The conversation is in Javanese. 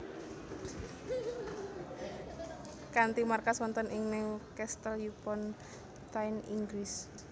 Kanthi markas wonten ing Newcastle upon Tyne Inggris